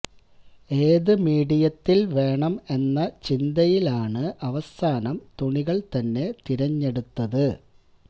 ഏതു മീഡിയത്തില് വേണം എന്ന ചിന്തയിലാണ് അവസാനം തുണികള് തന്നെ തെരഞ്ഞെടുത്തത്